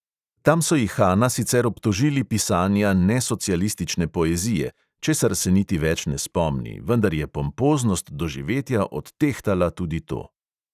Tam so ihana sicer obtožili pisanja nesocialistične poezije, česar se niti več ne spomni, vendar je pompoznost doživetja odtehtala tudi to.